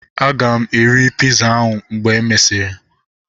Aga m eri piza ahu mgbe e mesịrị